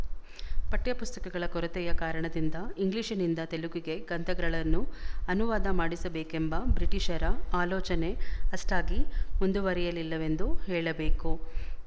ಪಠ್ಯಪುಸ್ತಕಗಳ ಕೊರತೆಯ ಕಾರಣದಿಂದ ಇಂಗ್ಲಿಶ್‌ನಿಂದ ತೆಲುಗಿಗೆ ಗ್ರಂಥಗಳನ್ನು ಅನುವಾದ ಮಾಡಿಸಬೇಕೆಂಬ ಬ್ರಿಟಿಶರ ಆಲೋಚನೆ ಅಷ್ಠಾಗಿ ಮುಂದುವರಿಯಲಿಲ್ಲವೆಂದು ಹೇಳಬೇಕು